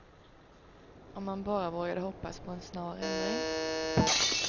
Om man bara vågade hoppas på en snar ändring.